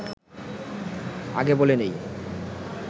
আগে বলে নেই